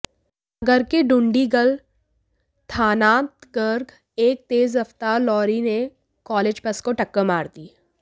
नगर के डुंडिगल थानांतर्गत एक तेज रफ्तार लॉरी ने कॉलेज बस को टक्कर मार दी